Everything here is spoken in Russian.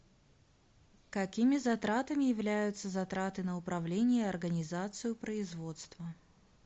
какими затратами являются затраты на управление и организацию производства